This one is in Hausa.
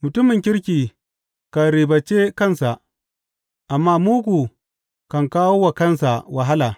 Mutumin kirki kan ribance kansa, amma mugu kan kawo wa kansa wahala.